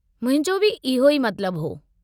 मुंहिंजो बि इहो ई मतिलबु हो।